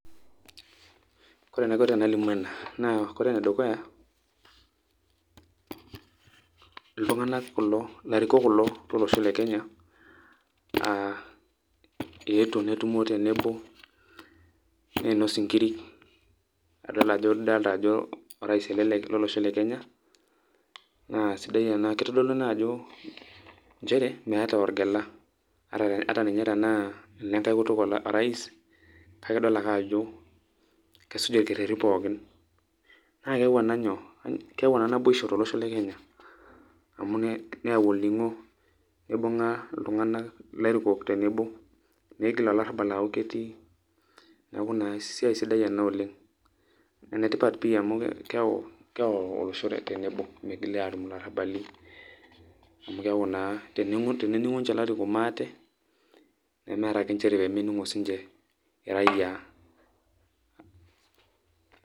Ore enaiko te nalimu ena naa ore enedukuya ilarikok kulo lolosho le Kenya, eetuo netumo tenebo nainos inkirik nidolita ajo orais ele lolosho le kenya naa sidai ena, kitodolu naa ajo nchere meeta orgela ata ninya te naa olenkae kutuk orais kake idol ake ajo kesuj ilkererin pookin naa keyau naboisho to losho le kenya neyau olning'o, neibung'a ilairukok niigil olarrabal aaku kiti neeku naa esiai sidai ena oleng', enetipat pii amuu keyau olosho tenebo migili aatum ilarrabali amu keeku naa tenetumo inje larikok maate nemeeta ake nchere peemening'o raia .